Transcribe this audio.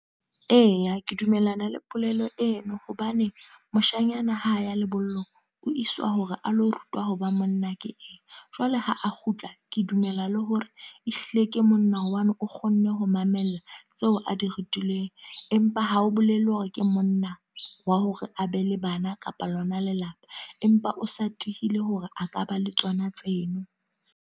Eya, ke dumellana le polelo eno. Hobane, moshanyana ha ya lebollong. O iswa hore a lo rutwa ho ba monna ke eng. Jwale ha a kgutla, ke dumela le hore ehlile ke monna hobane o kgonne ho mamella tseo a di rutilweng. Empa ha o bolele hore ke monna, wa hore a be le bana kapa lona lelapa. Empa o sa tiile hore a ka ba le tsona tse no.